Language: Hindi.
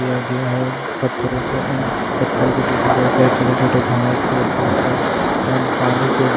किया गया है पत्थरों से एंड पत्थर के बीच में बहुत सारे छोटे-छोटे घास है फूसे एंड पानी के --